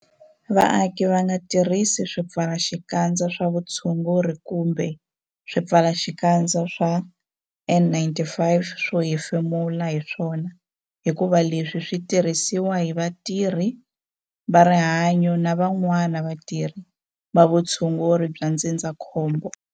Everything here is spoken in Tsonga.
Vaaki va nga tirhisi swipfalaxikandza swa vutshunguri kumbe swipfalaxikandza swa N-95 swo hefemula hi swona hikuva leswi swi tirhisiwa hi vatirhi va rihanyo na van'wana vatirhi va vutshunguri bya ndzindzakhombo.